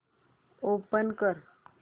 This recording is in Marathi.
ओपन कर